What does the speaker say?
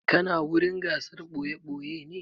Kana wurin gasar ɓoye-ɓoye ne?